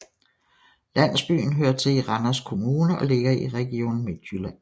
Landsbyen hører til Randers Kommune og ligger i Region Midtjylland